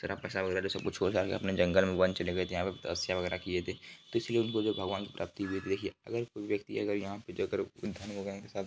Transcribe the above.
तेरा पैसा वगेराह सब कुछ छोड़ छाड़ कर अपने जंगल में वन चले गए थे यहाँ पर तपस्या वगेराह किये थे तो इसलिए बोले भगवान जो भगवान की प्राप्ति हुई थी देखिये अगर कोई व्यक्ति अगर--